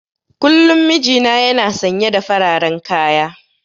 Kullum mijina yana sanye da fararen kaya.